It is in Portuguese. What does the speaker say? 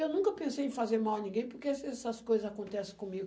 Eu nunca pensei em fazer mal a ninguém, porque essas coisas acontecem comigo.